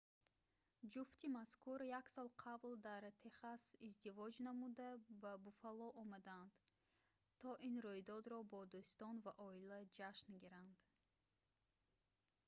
ҷуфти мазкур як сол қабл дар техас издивоҷ намуда ба буффало омаданд то ин рӯйдодро бо дӯстон ва оила ҷашн гиранд